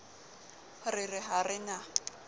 re re ha re na